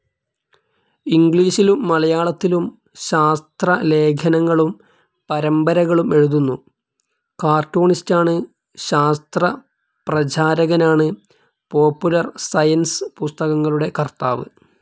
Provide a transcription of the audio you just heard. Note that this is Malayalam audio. ഇംഗ്ലിഷിലും മലയാളത്തിലും ശാസ്ത്രലേഖനങ്ങളും പരമ്പരകളും എഴുതുന്നു. കർട്ടൂണിസ്റ്റാണ്. ശാസ്ത്രപ്രചാരകനാണ്. പോപ്പുലർ സയൻസ് പുസ്തകങ്ങളുടെ കർത്താവ്.